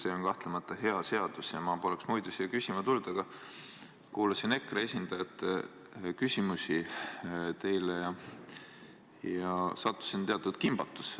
See on kahtlemata hea seadus ja ma poleks muidu siia küsima tulnud, aga kuulasin EKRE esindajate küsimusi ja sattusin teatud kimbatusse.